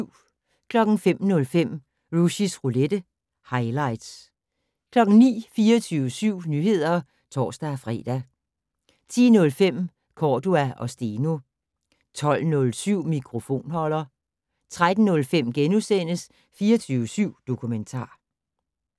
05:05: Rushys roulette - highlights 09:00: 24syv Nyheder (tor-fre) 10:05: Cordua & Steno 12:07: Mikrofonholder 13:05: 24syv Dokumentar *